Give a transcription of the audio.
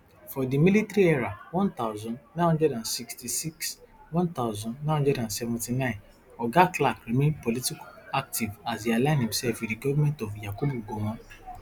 for di military era one thousand, nine hundred and sixty-six one thousand, nine hundred and seventy-nine oga clark remain politically active as e align imsef wit di goment of yakubu gowon